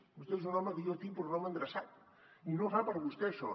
vostè és un home que jo tinc per un home endreçat i no fa per a vostè això